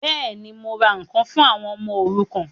Bẹ́ẹ̀ni, mo ra ǹkan fún àwọn ọmọ òrukàn